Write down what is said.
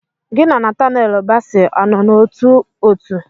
Gi na Natanelu basi a nọ n'ótú òtù?